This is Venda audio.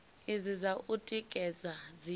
idzi dza u tikedza dzi